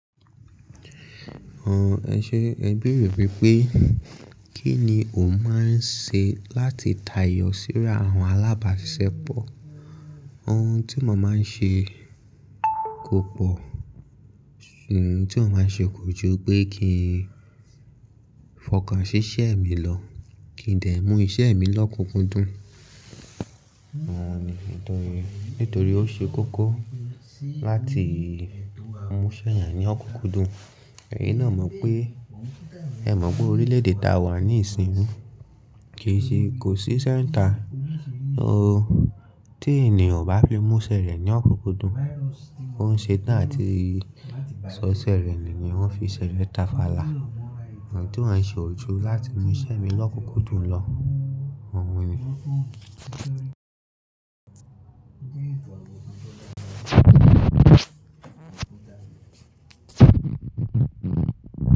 Ẹṣe ẹ bèrè wípé kí ni o máa ń ṣe láti tayọ síra àwọn alábàáṣepọ̀? Ohun tí mo máa ń ṣe kò pọ̀, ohun tí mo máa ń ṣe kò ju pé kí n fọkàn ṣíṣe mi lọ, kí n de mú iṣẹ́ mi lọ́kùnkúndùn. Òhun ni nítorí, nítorí ó ṣe kókó láti múṣẹ́ ènìyàn ní ọ̀kúkúndùn. Ẹ̀yin náà mọ̀ pé, ẹ mọ̀ pé orílẹ̀-èdè tá a wà ní ìsìn, kì í ṣe kò sí ise nita tí ènìyàn o bá fi múṣẹ́ rẹ̀ ní ọ̀kúkúndùn, ó ń ṣe tán àti sọ ṣẹ́ rẹ̀ ni wọ́n fi ṣẹlẹ̀ tafala. Ohun tí wọ́n ṣe ojú láti mú iṣẹ́ mi lọ́kúkúndùn lọ, ọ̀hun ni.